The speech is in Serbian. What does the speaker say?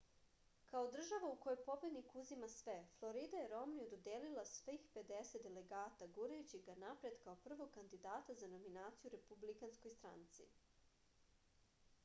kao država u kojoj pobednik uzima sve florida je romniju dodelila svih pedeset delegata gurajući ga napred kao prvog kandidata za nominaciju u republikanskoj stranci